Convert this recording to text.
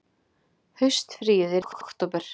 Haustfríið er í október.